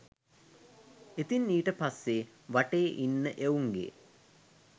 ඉතින් ඊට පස්සේ වටේ ඉන්න එවුන්ගේ